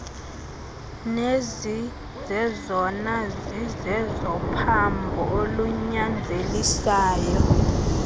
nezizezona zizezophambo olunyanzelisayo